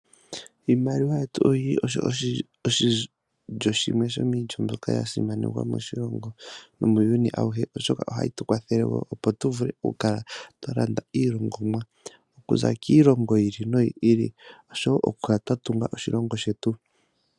Iimaliwa yetu oyili oshilyo shimwe yomiilyo mbyoka ya simanekwa moshilongo nomuuyuni awuhe. Oshoka ohayi tu kwathele wo opo tu vule okukala twa landa iilongomwa okuza kiilongo yi ili noyo ili. Osho wo okukala twa tunga oshilongo shetu.